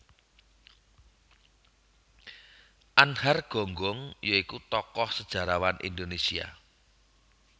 Anhar Gonggong ya iku tokoh sejarawan Indonésia